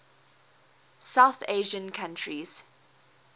south asian countries